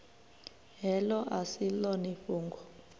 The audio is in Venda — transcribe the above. heḽo a si ḽone fhungo